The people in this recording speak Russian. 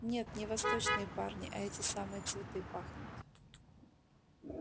нет не восточные парни а эти самые цветы пахнут